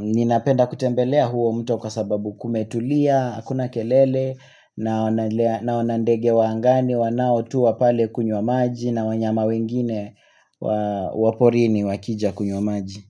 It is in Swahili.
Ninapenda kutembelea huo mto kwa sababu kumetulia, hakuna kelele, na wanandege wa angani wanaoyua pale kunywa maji, na wanyama wengine waporini wakija kunywa maji.